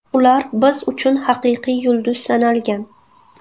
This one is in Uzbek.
Ular biz uchun haqiqiy yulduz sanalgan.